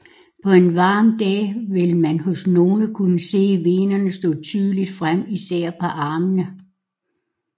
På en varm dag vil man hos nogle kunne se venerne stå tydeligt frem især på armene